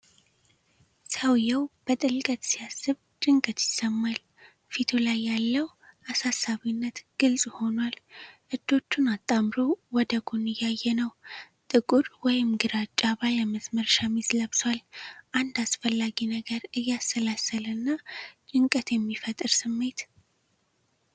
ሰውየው በጥልቀት ሲያስብ ጭንቀት ይሰማል! ። ፊቱ ላይ ያለው አሳሳቢነት ግልጽ ሁኗል!። እጆቹን አጣምሮ ወደ ጎን እያየ ነው ። ጥቁር ወይም ግራጫ ባለመስመር ሸሚዝ ለብሷል ። አንድ አስፈላጊ ነገር እያሰላሰለ እና ጭንቀት የሚፈጥር ስሜት!።